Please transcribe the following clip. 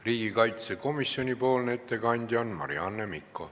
Riigikaitsekomisjoni ettekandja on Marianne Mikko.